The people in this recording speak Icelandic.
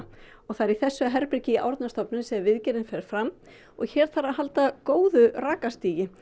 það er í þessu herbergi í Árnastofnun sem viðgerðin fer fram og hér þarf að halda góðu rakastigi